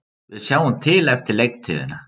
Við sjáum til eftir leiktíðina,